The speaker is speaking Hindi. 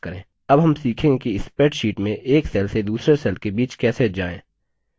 अब हम सीखेंगे कि spreadsheet में एक cells से दूसरे cells के बीच कैसे जाएँ